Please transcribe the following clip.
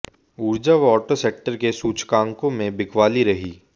ऊर्जा व auto sector के सूचकांकों में बिकवाली रही